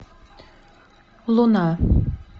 луна